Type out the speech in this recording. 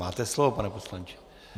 Máte slovo, pane poslanče.